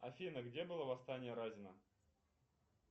афина где было восстание разина